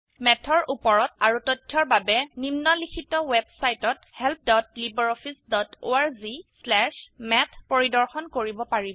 ম্যাথৰ উপৰত আৰু তথ্যৰ বাবে নিম্নলিখিত ওয়েবসাইট helplibreofficeorgমাথ পৰিদৰ্শন কৰিব পাৰিব